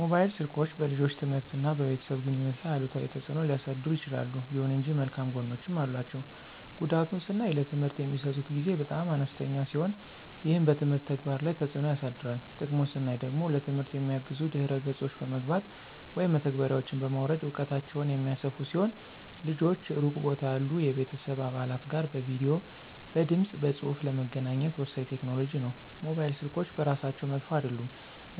ሞባይል ስልኮች በልጆች ትምህርት እና በቤተሰብ ግንኙነት ላይ አሉታዊ ተጽዕኖ ሊያሳድሩ ይችላሉ። ይሁን እንጂ መልካም ጎኖችም አሏቸው። ጉዳቱን ስናይ ለትምህርት የሚሰጡት ጊዜ በጣም አነስተኛ ሲሆን ይህም በትምህርት ተግባር ላይ ተጽዕኖ ያሳድራል። ጥቅሙን ስናይ ደግሞ ለትምህርት የሚያግዙ ድህረ ገጾች በመግባት (መተግበሪያዎችን) በማውረድ እውቀታቸውን የሚያሰፉ ሲሆን ልጆች ሩቅ ቦታ ያሉ የቤተሰብ አባላት ጋር በቪዲዬ፣ በድምፅ በፁሁፍ ለመገናኘት ወሳኝ ቴክኖሎጂ ነው። ሞባይል ስልኮች በራሳቸው መጥፎ አይደሉም፣